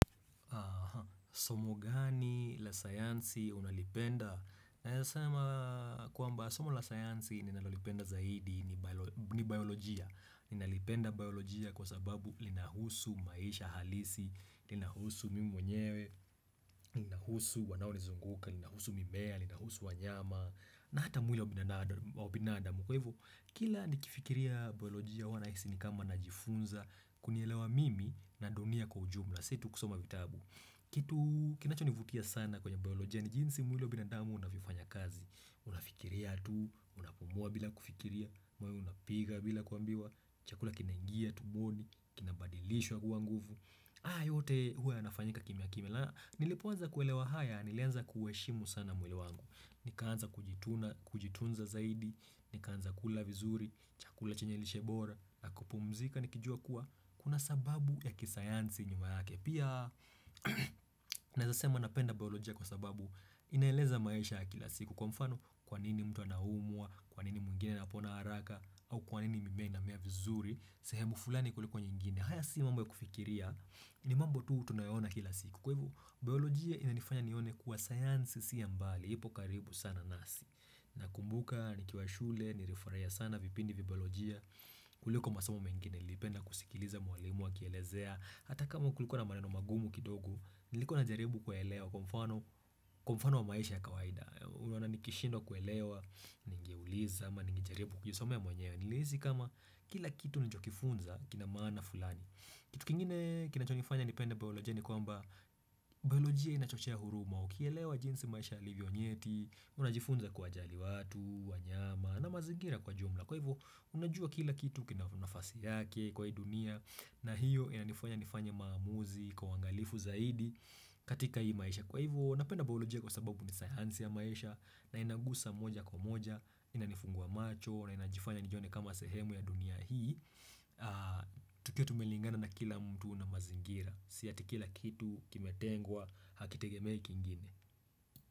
Somo gani la sayansi unalipenda? Naeza sema kwamba somo la sayansi ninalolipenda zaidi ni biolojia. Ninalipenda biolojia kwa sababu inahusu maisha halisi, linahusu mimi mwenyewe, linahusu wanao nizunguka, linahusu mimea, linahusu wanyama, na hata mwili wa binadamu. Kwa hivyo, kila nikifikiria biolojia huwa nahisi ni kama najifunza, kunielewa mimi na dunia kwa ujumla, si tu kusoma vitabu. Kitu kinachonivutia sana kwenye biolojia ni jinsi mwili wa binadamu unavyofanya kazi. Unafikiria tu, unapumua bila kufikiria, moyo unapiga bila kuambiwa Chakula kinaingia tumboni, kinabadilishwa kuwa nguvu haya yote huwa yanafanyika kimya kimya na nilipoanza kuelewa haya, nilianza kuheshimu sana mwili wangu. Nikaanza kujitunza zaidi, nikaanza kula vizuri, chakula chanye lishe bora, na kupumzika nikijua kuwa kuna sababu ya kisayansi nyuma yake. Pia Naeza sema napenda biolojia kwa sababu inaeleza maisha ya kila siku. Kwa mfano Kwa nini mtu anaumwa, kwa nini mwingine anapona haraka, au kwa nini mimea inamea vizuri sehemu fulani kuliko nyingine. Haya si mambo ya kufikiria, ni mambo tu tunayaona kila siku. Kwa hivyo, biolojia inanifanya nione kuwa sayansi si ya mbali ipo karibu sana nasi. Nakumbuka, nikiwa shule, nilifurahiya sana vipindi vya biolojia kuliko masomo mengine. Nilipenda kusikiliza mwalimu akielezea. Hata kama kulikuwa na maneno magumu kidogo, nilikuwa najaribu kuelewa, kwa mfano Kwa mfano wa maisha ya kawaida. Unaona nikishindwa kuelewa, ningeuliza ama ningejaribu kujisomea mwenyewe. Nilihisi kama kila kitu nilichokifunza kina maana fulani. Kitu kingine kinachonifanya nipende biolojia ni kwamba Biolojia inachochea huruma. Ukielewa jinsi maisha yalivyo nyeti, unajifunza kuwajali watu, wanyama na mazingira kwa jumla. Kwa hivyo unajua kila kitu kina nafasi yake kwa hii dunia na hiyo inanifanya nifanye maamuzi kwa uangalifu zaidi katika hii maisha. Kwa hivyo napenda biolojia kwa sababu ni sayansi ya maisha na inagusa moja kwa moja, inanifungua macho na inajifanya nijione kama sehemu ya dunia hii tukiwa tumelingana na kila mtu na mazingira si eti kila kitu kimetengwa hakitegemei kingine.